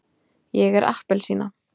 ég er appelsína.